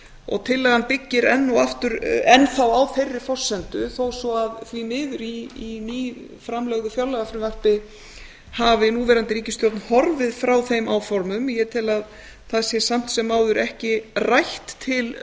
og tillagan byggir enn þá á þeirri forsendu þó svo að því miður í nýframlögðu fjárlagafrumvarpi hafi núverandi ríkisstjórn horfið frá þeim áformum ég tel að það sé samt sem áður ekki rætt til